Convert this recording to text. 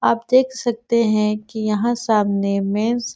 आप देख सकते है की यहाँ सामने मेन्स --